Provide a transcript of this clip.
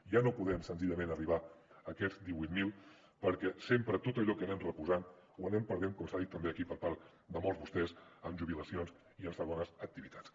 ja no podem senzillament arribar a aquests divuit mil mil perquè sempre tot allò que anem reposant o anem perdent com s’ha dit també aquí per part de molts de vostès amb jubilacions i amb segones activitats